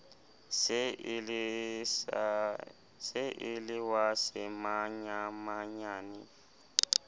se e le wa semanyamanyane